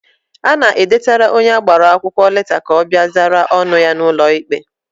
Ana edetara onye agbara akwụkwọ leta ka ọ bịa zara ọnụ ya n'ụlọ ikpe.